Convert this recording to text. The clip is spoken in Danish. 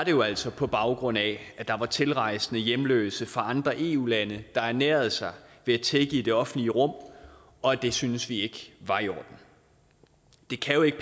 jo altså på baggrund af at der var tilrejsende hjemløse for andre eu lande der ernærede sig ved at tigge i det offentlige rum og det syntes vi ikke var i orden det kan jo ikke